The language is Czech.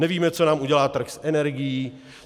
Nevíme, co nám udělá trh s energií.